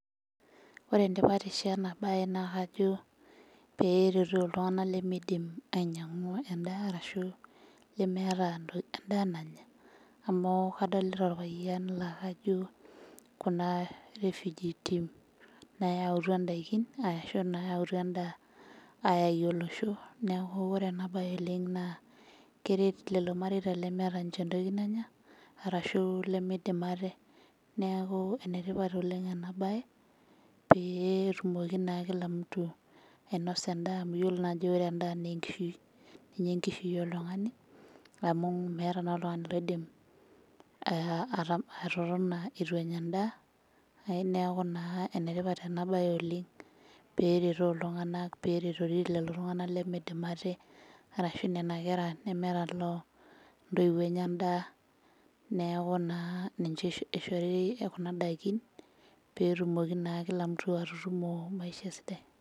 Ore entipatisho ena baye naa kajo peretoo iltung'anak lemeidim ainying'u endaa arashu lemeeta ntoki endaa nanya amu kadolita orpayian laa kajo kuna refugee team nayautua indaikin aashu nayautua endaa ayaki olosho neku ore ena baye oleng naa keret lelo mareita lemeeta inche entoki nanya rashu lemeidim ate neaku enetipat oleng ena baye pee etumoki naa kila mtu ainosa endaa amu yiolo naa ajo ore endaa naa enkishui ninye enkishui oltung'ani amu meeta naa oltung'ani loidim uh atotona etu enya endaa ae niaku naa enetipat ena baye oleng peretoo iltung'anak peretori lelo tung'anak lemeidim ate arashu nena kera nemeeta loo ntoiwuo enye endaa neeku ninche eishori kina daikin petumoki naa kila mtu atutumo maisha sidai.